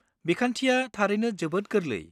बिखान्थिया थारैनो जोबोद गोरलै।